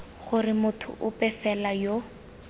gore motho ope fela yo